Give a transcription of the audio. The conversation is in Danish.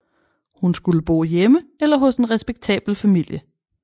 Hun skulle bo hjemme eller hos en respektabel familie